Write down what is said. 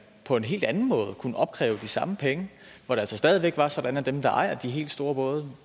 på en hel anden måde kunne opkræve de samme penge hvor det altså stadig væk var sådan at dem der ejer de helt store både